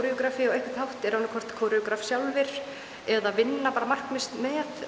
á einhvern hátt eru annað hvort sjálfir eða vinna bara markvisst með